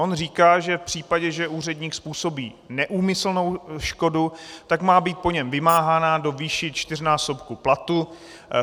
On říká, že v případě, že úředník způsobí neúmyslnou škodu, tak má být po něm vymáhána do výše čtyřnásobku platu.